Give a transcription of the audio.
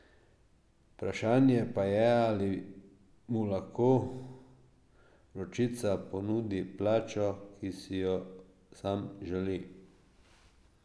Vprašanje pa je, ali mu lahko Vročica ponudi plačo, ki si jo sam želi.